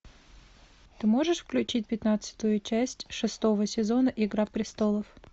ты можешь включить пятнадцатую часть шестого сезона игра престолов